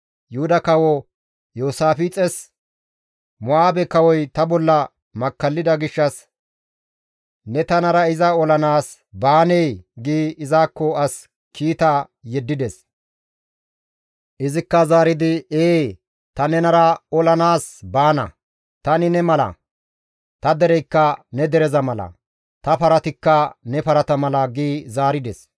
Yuhuda kawo Iyoosaafixes, «Mo7aabe kawoy ta bolla makkallida gishshas ne tanara iza olanaas baanee?» gi izakko as kiita yeddides. Izikka zaaridi, «Ee ta nenara olanaas baana; tani ne mala; ta dereykka ne dereza mala; ta paratikka ne parata mala» gi zaarides.